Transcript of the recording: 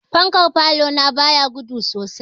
Fankan falo na ba ya gudu sosai.